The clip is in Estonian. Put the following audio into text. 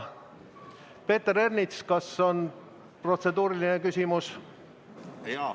Peeter Ernits, kas on protseduuriline küsimus?